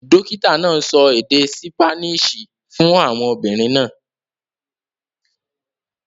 Dókìtà náà sọ èdè Sípáníìṣì fún àwọn obìnrin náà.